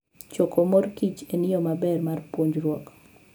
Choko mor kich en yo maber mar puonjruok.